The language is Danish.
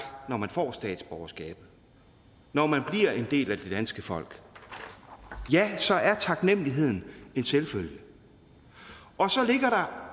når man får statsborgerskabet når man bliver en del af det danske folk ja så er taknemmeligheden en selvfølge og så ligger der